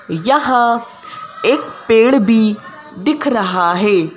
यहां एक पेड़ भी दिख रहा है ।